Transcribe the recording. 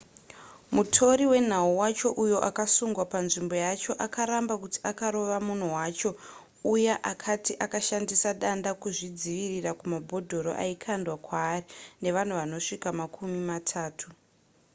mutori wenhau wacho uyo akasungwa panzvimbo yacho akaramba kuti akarova munhu wacho uya akati akashandisa danda kuzvidzivirira kumabhodhoro aikwandwa kwaari nevanhu vanosvika makumi matatu